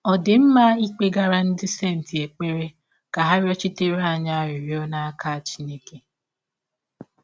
Ọ̀ dị mma ịkpegara “ ndị senti ” ekpere ka ha rịọchitere anyị arịrịọ n’aka Chineke?